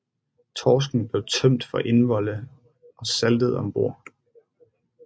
Torsken blev tømt for indvolde og saltet om bord